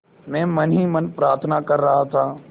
मैं मन ही मन प्रार्थना कर रहा था